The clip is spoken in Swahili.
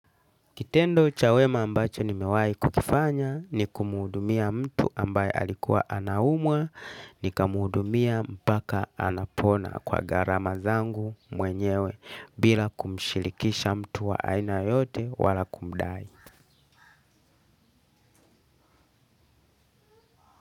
Kitendo chawema ambacho ni mewai kukifanya ni kumuhudumia mtu ambaye alikuwa anaumwa ni kumuhudumia mpaka anapona kwa gharama zangu mwenyewe bila kumshirikisha mtu wa aina yote wala kumdai.